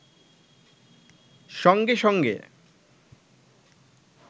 সঙ্গে সঙ্গে